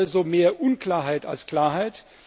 Es schafft also mehr Unklarheit als Klarheit.